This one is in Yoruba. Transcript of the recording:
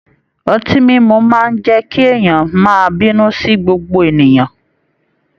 Ọtí mímu máa n jẹ kí èèyàn máa bínú sí gbogbo ènìyàn.